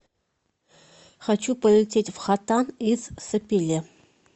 хочу полететь в хотан из сапеле